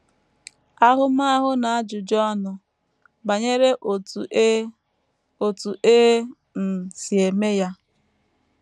Ahụmahụ na Ajụjụ Ọnụ Banyere Otú E Otú E um Si Eme Ya